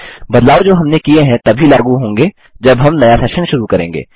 बदलाव जो हमने किये हैं तभी लागू होंगे जब हम नया सेशन शुरू करेंगे